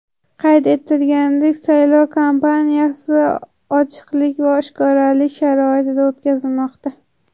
Qayd etilganidek, saylov kampaniyasi ochiqlik va oshkoralik sharoitida o‘tkazilmoqda.